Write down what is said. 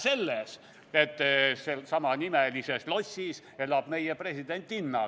Vähe sellest, samanimelises lossis elab meie presidentinna.